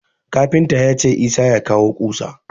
Kafinta ya ce Isah ya kawo ƙusa.